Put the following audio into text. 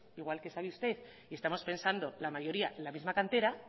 igual que sabe usted y estamos pensando la mayoría la misma cantera